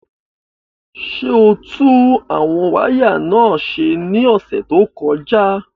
Ṣé o tún àwọn wáyà náà ṣe ní ọ̀sẹ̀ tó kọjá?